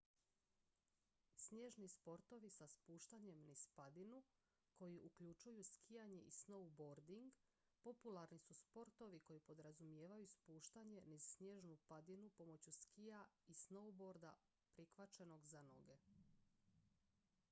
snježni sportovi sa spuštanjem niz padinu koji uključuju skijanje i snowboarding popularni su sportovi koji podrazumijevaju spuštanje niz snježnu padinu pomoću skija ili snowboarda prikvačenog za noge